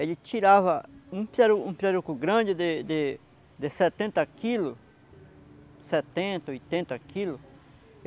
Ele tirava um piraru um pirarucu grande de de de setenta quilos, setenta, oitenta quilos.